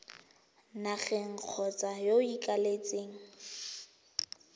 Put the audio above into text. nageng kgotsa yo o ikaeletseng